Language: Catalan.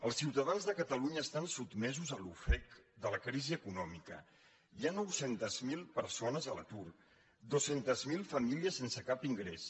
els ciutadans de catalunya estan sotmesos a l’ofec de la crisi econòmica hi ha nou cents miler persones a l’atur dos cents miler famílies sense cap ingrés